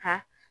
Ka